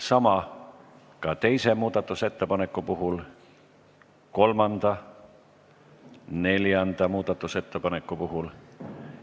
Sama on ka teise muudatusettepaneku puhul ning kolmanda ja neljanda muudatusettepaneku puhul.